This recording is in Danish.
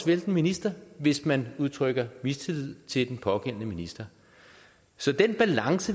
vælte en minister hvis man udtrykker mistillid til den pågældende minister så den balance